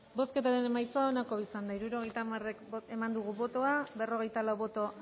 bozketaren emaitza onako izan da hirurogeita hamar eman dugu bozka berrogeita lau boto